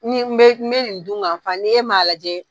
Ni be be nin dungafa ni ye maa lajɛ